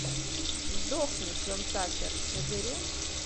сдохни джон такер набери